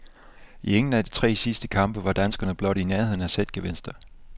I ingen af de tre sidste kampe var danskerne blot i nærheden af sætgevinster.